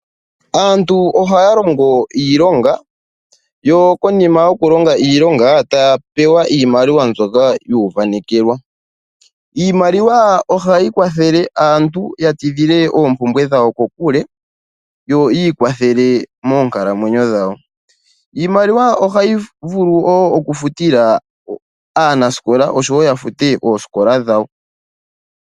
Aantu ohaya longo iilonga yo konima yokulonga iilonga taya pewa iimaliwa mbyoka yu uvanekelwa. Iimaliwa ohayi kwathele aantu ya tidhile oompumbwe dhawo kokule yo yi ikwathele moonkalamwenyo dhawo. Iimaliwa ohayi vulu woo okufutila aanasikola oshowo yafute oosikola dhawo.